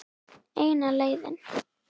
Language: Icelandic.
Eina leiðin.